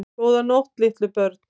Góða nótt litlu börn.